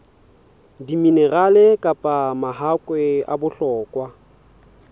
diminerale kapa mahakwe a bohlokwa